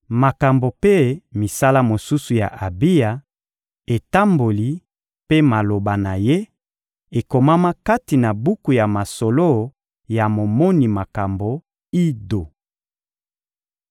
Makambo mpe misala mosusu ya Abiya, etamboli mpe maloba na ye, ekomama kati na buku ya masolo ya momoni makambo Ido.